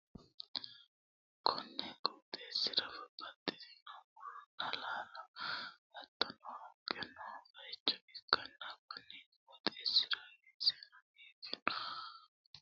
konni qooxeessira babbaxxitino muronna laalo hattono haqqe noo bayicho ikkanna, konni qooxeessira weeseno biiffinoti nooha ikkanna, hattono lallu qanchu giddo hayisso itanni no.